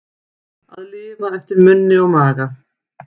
Að lifa eftir munni og maga